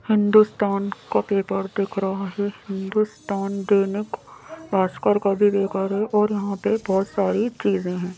हिंदुस्तान का पेपर दिख रहा है हिंदुस्तान दैनिक भास्कर का भी पेपर है और यहां पे बहुत सारी चीजें हैं।